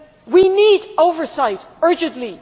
We need oversight urgently